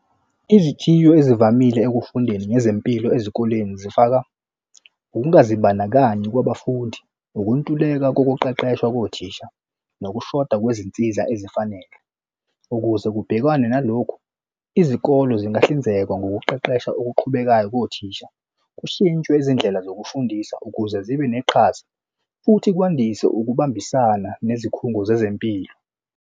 Izithiyo ezivamile ekufundeni ngezempilo ezikoleni zifaka ukungazibandakanyi kwabafundi, ukuntuleka kokuqeqeshwa kothisha, nokushoda kwezinsiza ezifanele ukuze kubhekwane nalokhu izikole zingahlinzeka ngokuqeqesha okuqhubekayo kothisha kushintshwe izindlela zokufundisa ukuze zibe neqhaza futhi kwandise ukubambisana nezikhungo zezempilo.